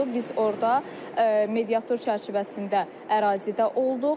Biz orda mediator çərçivəsində ərazidə olduq.